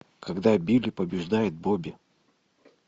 когда билли побеждает бобби